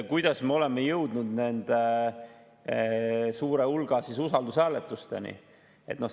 Kuidas me oleme jõudnud nii suure hulga usaldushääletusteni?